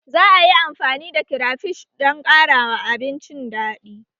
Za a yi amfani da kirafish don ƙara ma abincin daɗi